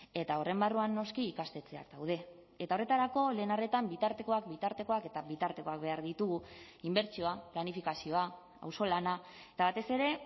eta horren barruan noski ikastetxeak daude eta horretarako lehen arretan bitartekoak bitartekoak eta bitartekoak behar ditugu inbertsioa planifikazioa auzolana eta batez ere